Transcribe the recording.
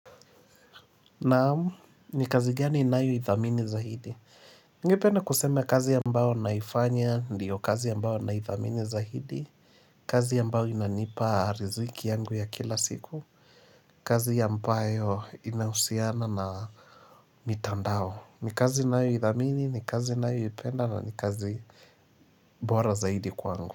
Naam, ni kazi gani inayoidhamini zaidi? Ningependa kusema kazi ambao naifanya, ndiyo kazi ambao naithamini zaidi. Kazi ambao inanipa riziki yangu ya kila siku. Kazi ambao inahusiana na mitandao. Ni kazi ninayoidhamini, ni kazi ninayoipenda na ni kazi bora zaidi kwangu.